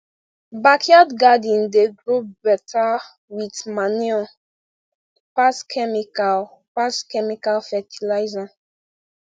backyard garden dey grow better with manure pass chemical pass chemical fertiliser